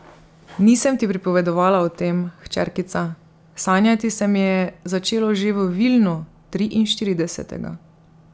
Nisem ti pripovedovala o tem, hčerkica, sanjati se mi je začelo že v Vilnu, triinštiridesetega.